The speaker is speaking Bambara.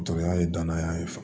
Dɔtɔrɔya ye danaya ye fa